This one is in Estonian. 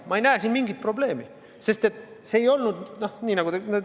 Ma ei näe siin mingisugust probleemi, sest see ei olnud nii, nagu te üritate näidata.